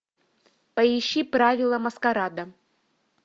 поищи правила маскарада